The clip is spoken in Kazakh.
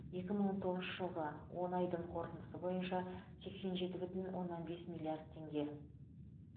екі мың он тоғызыншы жылғы он айдың қорытындысы бойынша сексен жеті бүтін оннан бес миллард теңге